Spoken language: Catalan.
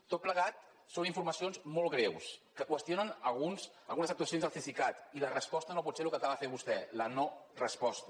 tot plegat són informacions molt greus que qüestionen algunes algunes actua cions del cesicat i la resposta no pot ser el que acaba de fer vostè la no resposta